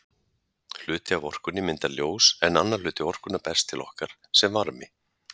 Hluti af orkunni myndar ljós en annar hluti orkunnar berst til okkar sem varmi.